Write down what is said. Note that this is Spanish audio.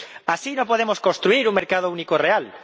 Así no podemos construir un mercado único real.